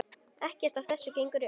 Ekkert af þessu gengur upp.